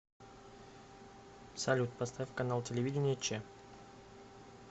салют поставь канал телевидения че